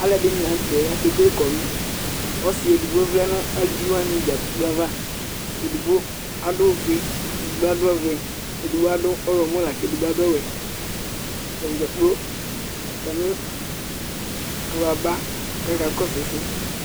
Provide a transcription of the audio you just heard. aluɛdɩnɩ la nutɛ akekele ilevlesɛ, ɔsi edigbo vlɛ nʊ aluviwanɩ dza gblo ava, edigbo adʊ awu ofue, ɛdi ta ɔvɛ, ɛdɩbɩ ɔwlɔmɔ, bɩɩ kʊ ɛdɩ ta adʊ awu ɔwɛ, atani dzaa atamɩ alunɩ aba kʊ akasʊ ɛsɛ